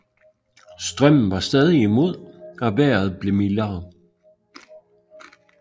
Strømmen var stadig imod og vejret blev mildere